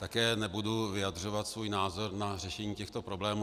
Také nebudu vyjadřovat svůj názor na řešení těchto problémů.